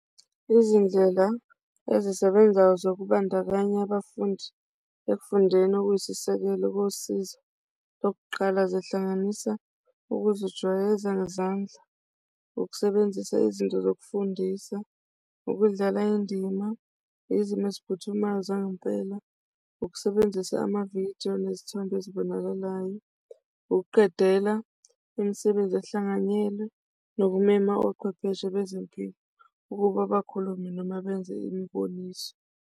Izindlela ezisebenzayo zokubandakanya abafundi ekufundeni okuyisisekelo kosizo lokuqala, zihlanganisa ukuzijwayeza ngezandla, ukusebenzisa izinto zokufundisa, ukudlala indima ngezimo eziphuthumayo zangempela, ukusebenzisa amavidiyo nezithombe ezibonakalayo, ukuqedela imisebenzi ehlanganyelwe, nokumema ochwepheshe bezempilo ukuba bakhulume noma benze imiboniso.